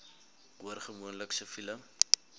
hoor gewoonlik siviele